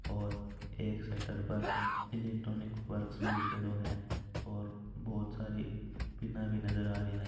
और एक शटर पर इलेक्ट्रोनिक वर्क्स भी लिखडो हैं और बहुत सारे पिना भी नज़र आ रही हैं।